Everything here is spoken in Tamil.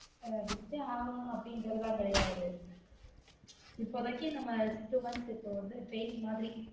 அஹ் வித்தே ஆகனும் அப்டிங்கறது எல்லா கெடயாது இப்போதைக்கு நம்ம two months இப்போ வந்து training மாதிரி